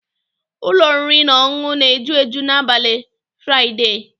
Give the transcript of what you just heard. Ụlọ oriri na ọṅụṅụ na-eju eju n'abalị Fụraịdee.